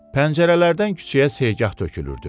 Pəncərələrdən küçəyə seyqah tökülürdü.